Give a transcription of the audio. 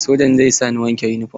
Sojan zai sa ni wanke yunifom.